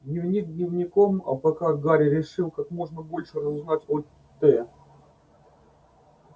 дневник дневником а пока гарри решил как можно больше разузнать о т